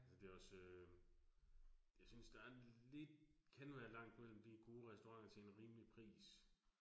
Altså det også øh, jeg synes der er lidt, kan være langt mellem de gode restauranter til en rimelig pris